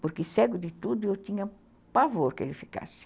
Porque cego de tudo, eu tinha pavor que ele ficasse.